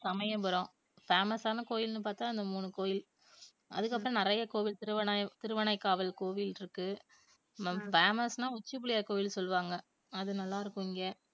Samayapuram famous ஆன கோயில்ன்னு பார்த்தா அந்த மூணு கோயில் அதுக்கப்புறம் நிறைய கோவில் திருவானை~ திருவானைக்காவல் கோவில் இருக்கு ஹம் famous ன்னா உச்சி பிள்ளையார் கோவில் சொல்லுவாங்க அது நல்லா இருக்கும் இங்க